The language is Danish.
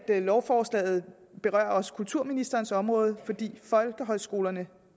lovforslaget også kulturministerens område fordi folkehøjskolerne